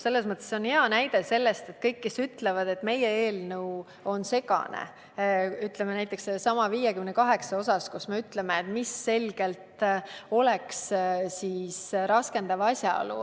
See on hea näide kõigile neile, kes ütlevad, et meie eelnõu on segane, näiteks sellesama § 58 osas, kus me ütleme selgelt, mis võiks olla raskendav asjaolu.